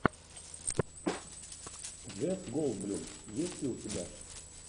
джефф голдблюм есть ли у тебя